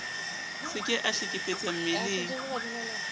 se ke a hlekefetsa mmeleng